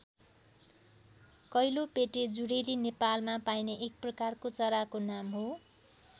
कैलोपेटे जुरेली नेपालमा पाइने एक प्रकारको चराको नाम हो।